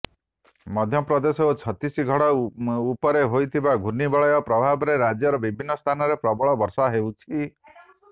ମଧ୍ୟପ୍ରଦେଶ ଓ ଛତିଶଗଡ଼ ଉପରେ ହୋଇଥିବା ଘୂର୍ଣ୍ଣିବଳୟ ପ୍ରଭାବରେ ରାଜ୍ୟର ବିଭିନ୍ନ ସ୍ଥାନରେ ପ୍ରବଳ ବର୍ଷା ହେଉଛି